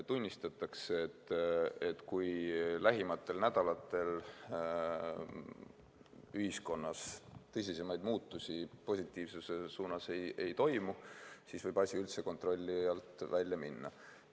Tunnistatakse, et kui lähimatel nädalatel ühiskonnas tõsisemaid muutusi positiivsuse suunas ei toimu, siis võib asi üldse kontrolli alt välja minna.